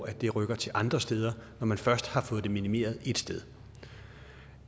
at det rykker til andre steder når man først har fået det minimeret et sted